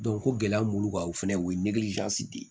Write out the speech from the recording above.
ko gɛlɛya mun b'u kan o fɛnɛ u ye de ye